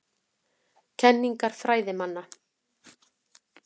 Kenningar fræðimanna.